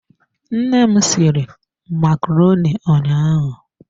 Nne m sịrị macaroni ụnyaahụ.